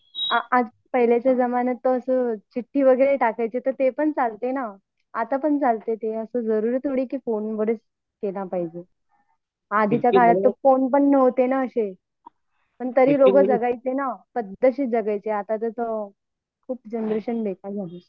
अअ पहिल्याच्या जमान्यात तर अस चिट्ठी वैगेरे टाकायचे ना ते पण चालते ना आता पण चालते तेना असा जरुरी थोडं आहे कि फोनवरच केला पाहिजे आधीच्या काळात फोन पण नव्हते ना असे तरी लोक जगायचे ना पण आता खूप जनरेशन बेकार झाली